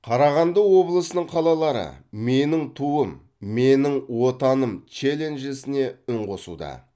қарағанды облысының қалалары менің туым менің отаным челленджісіне үн қосуда